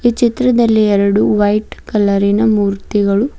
ಚಿತ್ರದಲ್ಲಿ ಎರಡು ವೈಟ್ ಕಲರಿನ ಮೂರ್ತಿಗಳು--